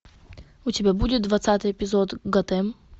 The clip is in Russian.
у тебя будет двадцатый эпизод готэм